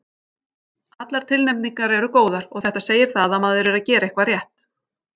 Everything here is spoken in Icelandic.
Allar tilnefningar eru góðar og þetta segir það að maður er að gera eitthvað rétt.